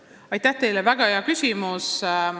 Aitäh teile, väga hea küsimus!